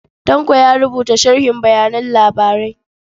Tanko ya rubuta sharhin bayan labarai.